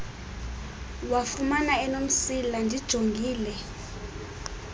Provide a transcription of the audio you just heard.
wafumana enomsila ndijongile